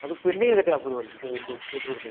आजून पेंडिंग आहे का ते अँप्रोवल ते कोथरूडच